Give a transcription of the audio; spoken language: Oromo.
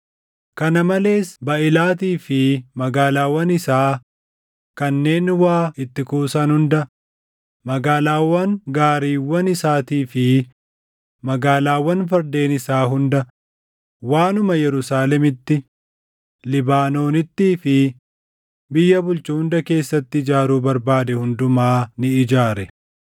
kana malees Baaʼilaatii fi magaalaawwan isaa kanneen waa itti kuusan hunda, magaalaawwan gaariiwwan isaatii fi magaalaawwan fardeen isaa hunda, waanuma Yerusaalemitti, Libaanoonittii fi biyya bulchu hunda keessatti ijaaruu barbaade hundumaa ni ijaare.